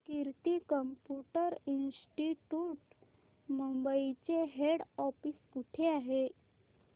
कीर्ती computer institute Mumbai चे head office कुठे आहे